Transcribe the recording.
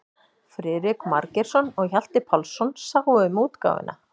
Friðrik Margeirsson og Hjalti Pálsson sáu um útgáfuna.